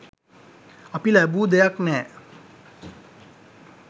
අපි ලැබූ දෙයක් නෑ.